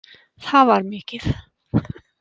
Það var mikið.